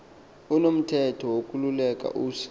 unomthetho wokululeka usa